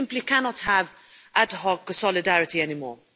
We simply cannot have ad hoc solidarity anymore.